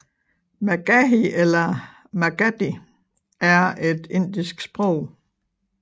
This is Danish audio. Magahi eller Magadhi er et indisk sprog